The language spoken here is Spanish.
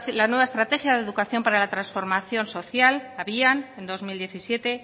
la nueva estrategia de educación para la transformación social abian en dos mil diecisiete